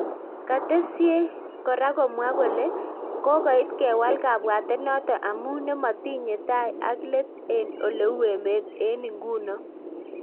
Katesie kora komwaa kolee kokoit kewal kabwatet notok amuu nemotinye tai ak let eng oleu emeet eng ingunoo